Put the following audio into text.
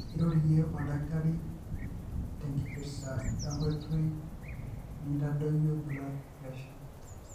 irorie oldakitari tenkipirta ongoitoi nintadoyio blood pressure.